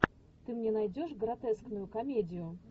ты мне найдешь гротескную комедию